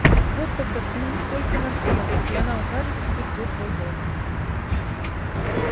вот тогда взгляни только на стрелку и она укажет тебе где твой дом